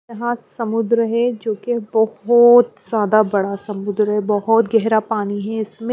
यहाँ समुद्र है जोकि बहोोोत ज्यादा बड़ा समुद्र है बहुत गहरा पानी है इसमें --